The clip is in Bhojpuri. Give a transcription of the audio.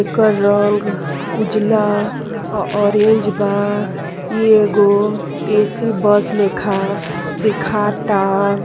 एकर रंग उजला ओ ऑरेंज बा। इ एगो ए.सी. बस लेखा देखाता।